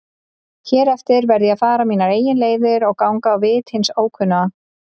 Hér eftir verð ég að fara mínar eigin leiðir og ganga á vit hins ókunna.